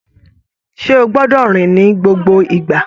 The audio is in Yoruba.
Ṣe o gbọdọ rìn ni gbogbo ìgbà?